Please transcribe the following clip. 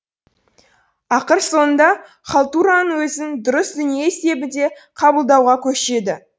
ақыр соңында халтураның өзін дұрыс дүние есебінде қабылдауға көшеді